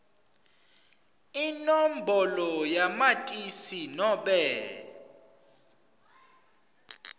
inombolo yamatisi nobe